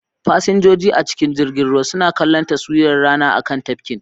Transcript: Fasinjoji a cikin jirgin ruwa suna kallon tashiwar rana a kan tafkin,